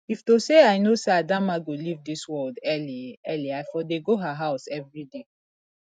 if to say i know say adamma go leave dis world early early i for dey go her house everyday